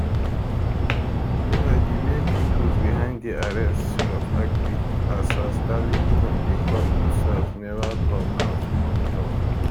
meanwhile di main pipo behind di arrest of akpi as as darlington dey call imsef neva come out come tok